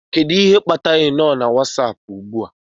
Kedu ihe kpatara ị nọ na Wasapu ugbu a?